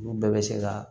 Olu bɛɛ bɛ se ka